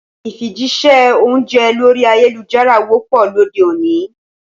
Ìfijíṣẹ́ oúnjẹ lorí ayélujára wọ́pọ̀ lóde òní